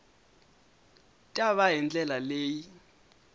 ta va hi ndlela leyi